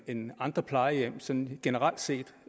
end andre plejehjem sådan generelt set